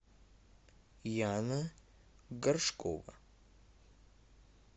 яна горшкова